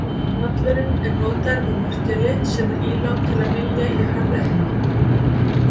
Hnallurinn er notaður með mortéli sem er ílát til að mylja í hörð efni.